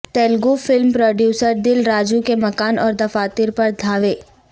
Telugu film producer Dil Raju کے مکان اور دفاتر پر دھاوے